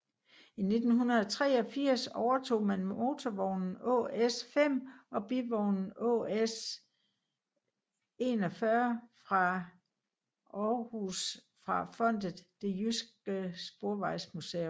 I 1983 overtog man motorvognen ÅS 5 og bivognen ÅS 41 fra Aarhus fra fondet Det Jyske Sporvejsmuseum